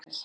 Karel